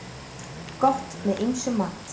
Gott með ýmsum mat.